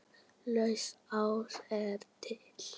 Lausnin ás er til.